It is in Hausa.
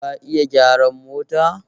Ka iya gyaran mota?